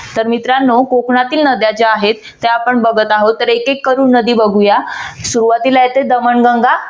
तर मित्रानो कोकणातील नद्या ज्या आहेत. त्या आपण बघत आहोत. तर एक एक करून नदी बघूया. सुरवातीला येते दमनगंगा.